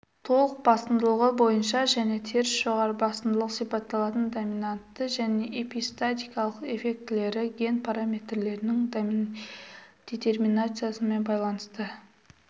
толық басымдылығы бойынша және теріс жоғары басымдылық сипатталатын доминатты және эпистатикалық эффектілері ген параметрлерінің детерминациясымен байланысты